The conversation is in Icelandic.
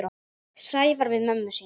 Sævar við mömmu sína.